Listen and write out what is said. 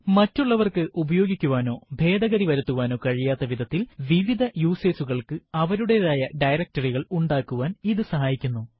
മറ്റുള്ളവർക്ക് ഉപയോഗിക്കുവാനോ ഭേദഗതി വരുത്തുവാനോ കഴിയാത്ത വിധത്തിൽ വിവിധ യൂസർ കൾക്ക് അവരുടെതായ directory കൾ ഉണ്ടാക്കുവാൻ ഇത് സഹായിക്കുന്നു